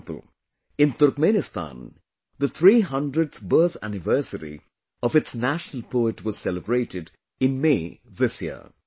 For example, in Turkmenistan, the 300th birth anniversary of its national poet was celebrated in May this year